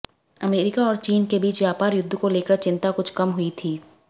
America और चीन के बीच व्यापार युद्ध को लेकर चिंता कुछ कम हुई थी